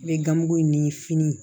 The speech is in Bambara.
I bɛ gamugu ni fini